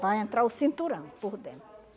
Para entrar o cinturão por dentro.